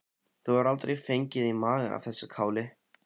Þú hefur aldrei fengið í magann af þessu káli?